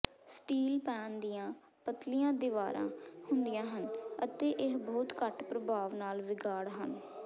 steel pan ਦੀਆਂ ਪਤਲੀਆਂ ਦੀਵਾਰਾਂ ਹੁੰਦੀਆਂ ਹਨ ਅਤੇ ਇਹ ਬਹੁਤ ਘੱਟ ਪ੍ਰਭਾਵ ਨਾਲ ਵਿਗਾੜ ਹਨ